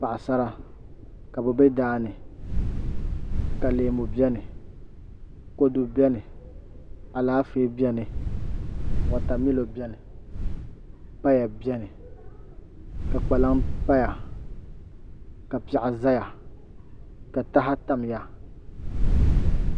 Paɣasara ka bi bɛ daani ka leemu biɛni kodu biɛni Alaafee biɛni wotamilo biɛni paya biɛni ka kpalaŋ paya ka piɛɣu ʒɛya ka taha tamya